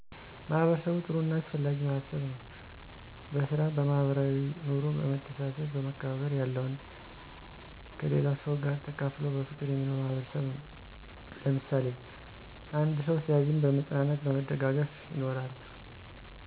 ማህበርሰቡ ጥሩ እና አሰፍላጊ ማህበርሰብ ነው በሰራ በማህበራዊይ ኖሮ በመሰተሰሰብ በመከባባር ያለውን ከሊለው ሰው ጋር ተካፍለው በፍቅር የሚኖር ማህበርሰብ ነው። ለምሳሊ አንዶ ሲዝን በማፅናናት በመደጋገፍ ይኖራሉ።